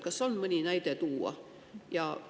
Kas on mõni näide tuua?